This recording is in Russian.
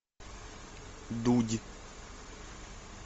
дудь